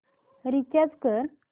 recharge कर